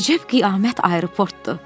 Əcəb qiyamət aeroportdur.